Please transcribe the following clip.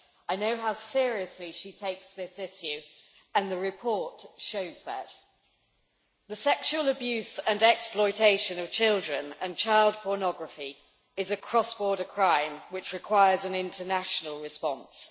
I know how seriously she takes this issue and the report shows that. The sexual abuse and exploitation of children and child pornography is a cross border crime which requires an international response.